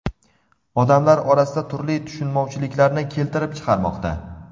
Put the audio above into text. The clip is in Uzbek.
odamlar orasida turli tushunmovchiliklarni keltirib chiqarmoqda.